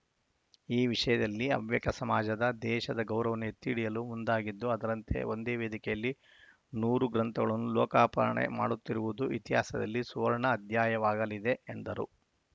ಈ ವಿಷಯದಲ್ಲಿ ಹವ್ಯಕ ಸಮಾಜದ ದೇಶದ ಗೌರವವನ್ನು ಎತ್ತಿ ಹಿಡಿಯಲು ಮುಂದಾಗಿದ್ದು ಅದರಂತೆ ಒಂದೇ ವೇದಿಕೆಯಲ್ಲಿ ನೂರು ಗ್ರಂಥಗಳನ್ನು ಲೋಕಾಪರಣೆ ಮಾಡುತ್ತಿರುವುದು ಇತಿಹಾಸದಲ್ಲಿ ಸುವರ್ಣ ಅಧ್ಯಾಯವಾಗಲಿದೆ ಎಂದರು